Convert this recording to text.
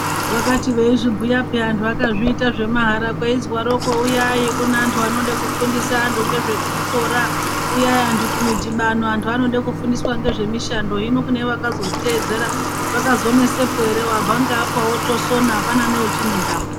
Vakati veizvibhuya pheya vanhu vakazviita zvemahara, kweizwaroko,"Uyai kune antu anode kufundise antu ngezvekuzvikora, uyai antu kumidhibano, antu anode kufundiswa ngezvemishando".Hino kune vakazozviteedzera ,zvakazonesepo ere. Wabva ngeapo ,wotosona, apana neuchine ntamo.